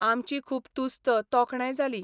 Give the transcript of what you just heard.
आमची खूब तुस्त तोखणाय जाली.